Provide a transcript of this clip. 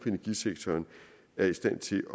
energisektoren er i stand til